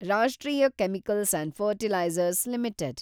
ರಾಷ್ಟ್ರೀಯ Chemicals and Fertilizers limited